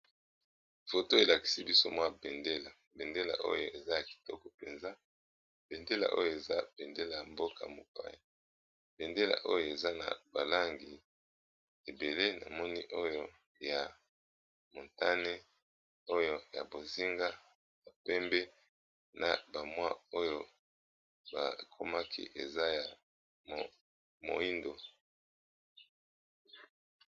foto elakisi biso mwa bendela bendela oyo eza ya kitoko mpenza bendela oyo eza pendela ya mboka mopaya bendela oyo eza na balangi ebele na moni oyo ya motane oyo ya bozinga ya pembe na bamwa oyo bakomaki eza ya moindo.